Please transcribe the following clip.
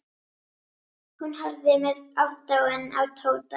Hún horfði með aðdáun á Tóta.